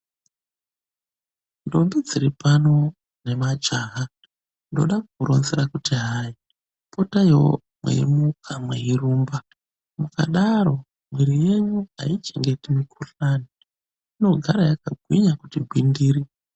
Ndombi dziripano nemajaha ndoda kukuronzera kuti hai potaiwo mweimuka mweirumba. Mukadaro mwiri yenyu haichengeti mikhuhlani, inogara yakagwinya kuti gwindiri.